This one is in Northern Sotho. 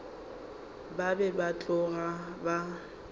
ba be ba tloga ba